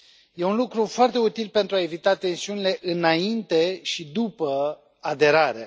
E un lucru foarte util, pentru a evita tensiunile înainte și după aderare.